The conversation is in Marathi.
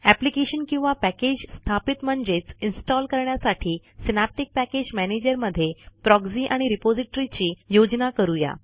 एप्लिकेशन किंवा पॅकेज स्थापित म्हणजेच इन्स्टॉल करण्यासाठी सिनॅप्टिक पॅकेज मॅनेजरमधे प्रॉक्झी आणि रिपॉझिटरीची योजना करू या